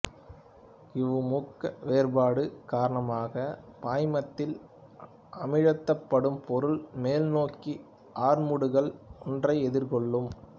இவ்வமுக்க வேறுபாடு காரணமாக பாய்மத்தில் அமிழ்த்தப்படும் பொருள் மேல்நோக்கிய ஆர்முடுகல் ஒன்றை எதிர்கொள்ளும்